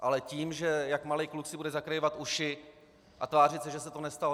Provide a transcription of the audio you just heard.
Ale tím, že jak malý kluk si bude zacpávat uši a tvářit se, že se to nestalo...